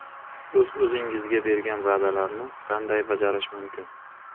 O‘z-o‘zingizga bergan va’dalarni qanday bajarish mumkin?.